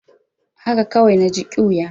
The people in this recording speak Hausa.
Haka kawai na ji ƙyuya.